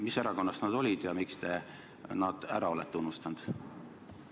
Mis erakonnast nad olid ja miks te nad ära olete unustanud?